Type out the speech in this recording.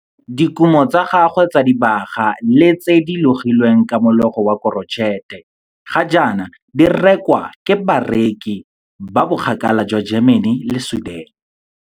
Dikumo tsa gagwe tsa dibaga le tse di logilweng ka mologo wa korotšhete ga jaana di rekwa ke bareki ba bokgakala jwa Germany le Sweden.